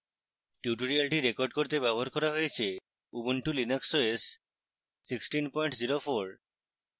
tutorial record করতে ব্যবহার হয়েছে: ubuntu linux os 1604